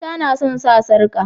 Mata nasan sa sarƙa